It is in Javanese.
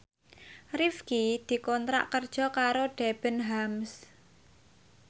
Rifqi dikontrak kerja karo Debenhams